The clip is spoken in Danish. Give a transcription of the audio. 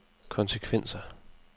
konsekvenser